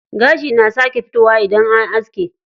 Gashi na sake fitowa idan an aske.